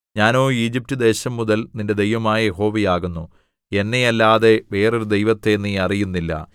ഞാനോ ഈജിപ്റ്റ് ദേശം മുതൽ നിന്റെ ദൈവമായ യഹോവ ആകുന്നു എന്നെയല്ലാതെ വേറൊരു ദൈവത്തെ നീ അറിയുന്നില്ല